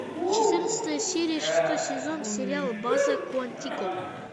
четырнадцатая серия шестой сезон сериал база куантико